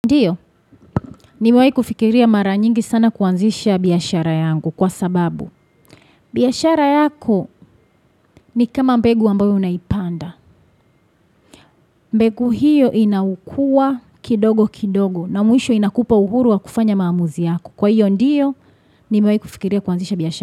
Ndio, nimewai kufikiria mara nyingi sana kuanzisha biyashara yangu kwa sababu. Biashara yako ni kama mbegu ambayo unaipanda. Mbegu hiyo inakua kidogo kidogo na mwisho inakupa uhuru wa kufanya maamuzi yako. Kwa hiyo ndiyo, ni mewai kufikiria kuanzisha biashara.